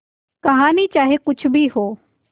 कहानी चाहे कुछ भी हो